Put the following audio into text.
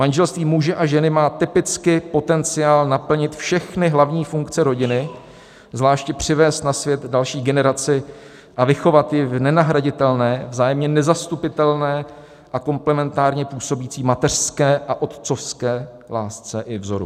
Manželství muže a ženy má typicky potenciál naplnit všechny hlavní funkce rodiny, zvláště přivést na svět další generaci a vychovat ji v nenahraditelné, vzájemně nezastupitelné a komplementárně působící mateřské a otcovské lásce i vzoru.